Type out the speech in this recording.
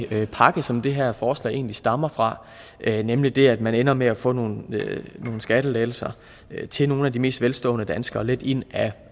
her pakke som det her forslag egentlig stammer fra nemlig det at man ender med at få nogle skattelettelser til nogle af de mest velstående danskere lidt ind ad